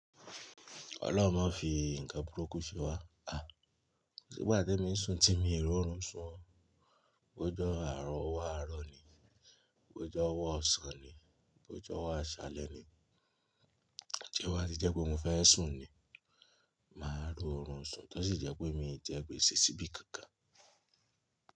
Ọlọ́run máa fi nǹkan burúkú ṣé wa. À, kò sì gbà tí èmi ń sun timi ò rò run sun ó, bó jẹ̀ àárọ̀ ọwọ àárọ̀ ni, bó jọ́ ọwọ ọ̀sán ni, bó jọ́ ọwọ aṣálẹ́ ni. T'oba tí jẹ́ pé mo fẹ́ sun ni, màá rí òrun sun, tó sì jẹ́ pé mi jẹ gbése sìbí kánkan.